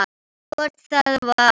Hvort það var!